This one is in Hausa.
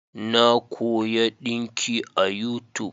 Na koya dinki a yutub